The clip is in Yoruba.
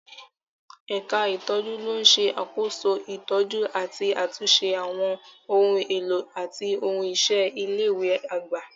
Ẹ̀ka ìtọ́jú ló ń ṣàkóso ìtọ́jú àti àtúnṣe àwọn ohun èlò àti ohun iṣẹ́ ilé ìwé àgbà.